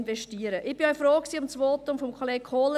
Ich war froh um das Votum von Kollege Kohler.